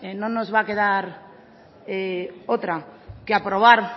no nos va a quedar otra que aprobar